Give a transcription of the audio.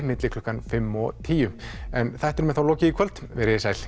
milli klukkan fimm og tíu en þættinum er þá lokið í kvöld veriði sæl